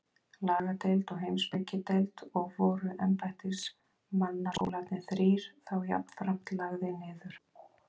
Lagadeild og Heimspekideild, og voru embættismannaskólarnir þrír þá jafnframt lagðir niður.